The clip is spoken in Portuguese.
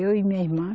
Eu e minha irmã.